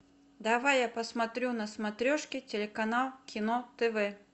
давай я посмотрю на смотрешке телеканал кино тв